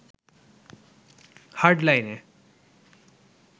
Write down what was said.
hard লাইনে